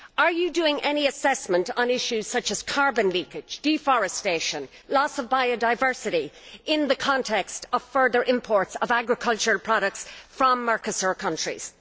Are you doing any assessment on issues such as carbon leakage, deforestation, loss of biodiversity in the context of further imports of agricultural products from Mercosur countries?